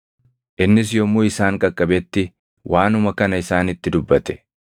Innis yommuu isaan qaqqabetti waanuma kana isaanitti dubbate.